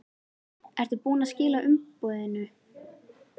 Ertu búinn að skila umboðinu?